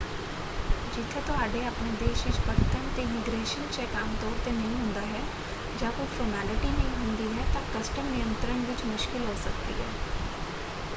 ਜਿੱਥੇ ਤੁਹਾਡੇ ਆਪਣੇ ਦੇਸ਼ ਵਿੱਚ ਪਰਤਣ ‘ਤੇ ਇਮੀਗ੍ਰੇਸ਼ਨ ਚੈੱਕ ਆਮਤੌਰ ‘ਤੇ ਨਹੀਂ ਹੁੰਦਾ ਹੈ ਜਾਂ ਕੋਈ ਫਾਰਮੈਲਿਟੀ ਨਹੀਂ ਹੁੰਦੀ ਹੈ ਤਾਂ ਕਸਟਮ ਨਿਯੰਤਰਣ ਵਿੱਚ ਮੁਸ਼ਕਲ ਹੋ ਸਕਦੀ ਹੈ।